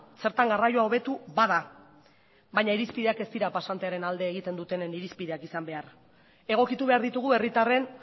zertan garraioa hobetu bada baina irizpideak ez dira pasantearen alde egiten dutenen irizpideak izan behar egokitu behar ditugu herritarren